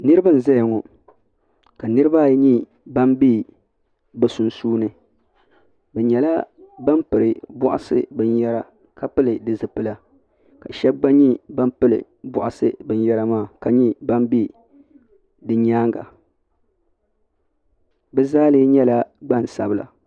Niriba n zaya ŋɔ ka niriba ayi nyɛ ban be biɛ sunsuuni bɛ nyɛla ban piri boaɣasa binyera ka pili di zipila ka sheba gba nyɛ ban pili binyera maa ka nyɛ ban be di nyaanga bɛ zaa lee nyɛla gbansabla.